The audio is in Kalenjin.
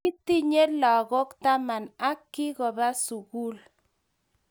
Kitinye lakok taman ak kikoba sukul